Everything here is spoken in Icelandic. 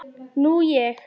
Nú ég.